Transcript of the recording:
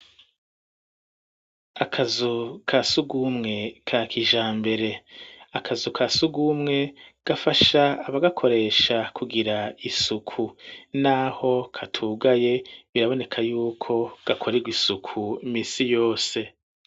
Akazu ka sugumwe ka kijambere akazu ka sugumwe gafasha aba gakoresha kugira isuku n'aho katugaye biraboneka y'uko gakoregwa isuku misi yose.